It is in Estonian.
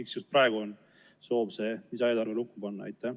Miks just praegu on soov see lisaeelarve lukku panna?